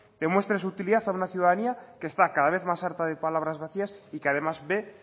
demuestre su utilidad a una ciudadanía que está cada vez más harta de palabras vacías y que además ve